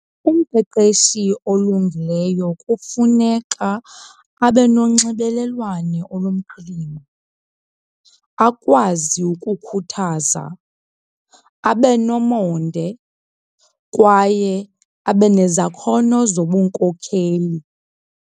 Umqeqeshi olungileyo kufuneka abe nonxibelelwano olumqilima, akwazi ukukhuthaza, abe nomonde kwaye abe nezakhono zobunkokheli.